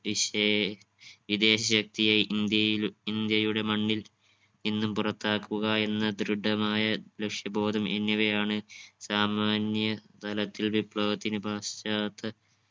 വിശേ വിദേശത്തിയ ഇന്ത്യയിൽ ഇന്ത്യയുടെ മണ്ണിൽ ഇന്നും പുറത്താക്കുക എന്ന് ദൃഢമായ ലക്ഷ്യബോധം എന്നിവയാണ് സാമാന്യ തലത്തിൽ വിപ്ലവത്തിന് പാശ്ചാത്ത